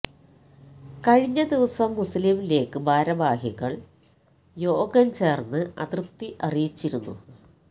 കഴിഞ്ഞ ദിവസം മുസ്ലിം ലീഗ് ഭാരവാഹികള് യോഗം ചേർന്ന് അതൃപ്തി അറിയിച്ചിരുന്നു